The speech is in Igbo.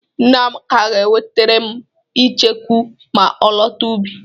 Nne Amaka ga-ewetere m icheku ma ọ lọta ubi.